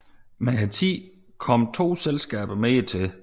Med tiden kom to selskaber mere til